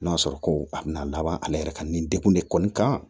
N'a sɔrɔ ko a bɛna laban ale yɛrɛ ka nin degun de kɔni kan